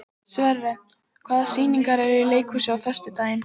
Sverre, hvaða sýningar eru í leikhúsinu á föstudaginn?